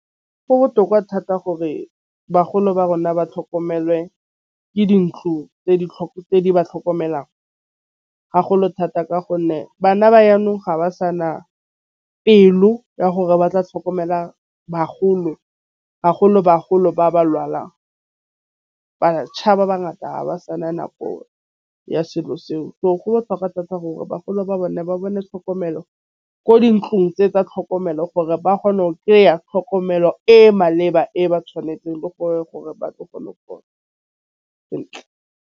Go botlhokwa thata gore bagolo ba rona ba tlhokomelwe ke dintlo tse di ba tlhokomelang. Ha go le thata ka gonne bana ba ga ba sana pelo ya gore ba tla tlhokomela bagolo ba ba lwalang. Ba ngata ha ba sana nako ya selo seo. So go botlhokwa thata gore bagolo ba bone ba bone tlhokomelo ko dintlong tse tsa tlhokomelo gore ba kgone go kry-a tlhokomelo e maleba e ba tšhwanetseng le gore ba tlo go sentle.